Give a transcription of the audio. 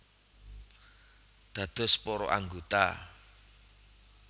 Dados para anggota